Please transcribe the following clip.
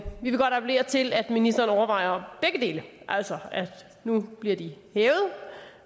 vil godt appellere til at ministeren overvejer begge dele altså at nu bliver de hævet